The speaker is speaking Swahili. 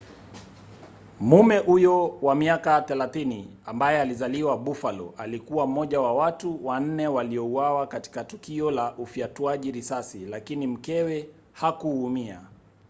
mume huyo wa miaka 30 ambaye alizaliwa buffalo alikuwa mmoja wa watu wanne waliouawa katika tukio la ufyatuaji risasi lakini mkewe hakuumia